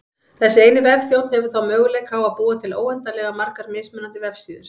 Þessi eini vefþjónn hefur þá möguleika á að búa til óendanlega margar mismunandi vefsíður.